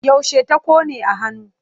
Yaushe ta ƙone a hannu?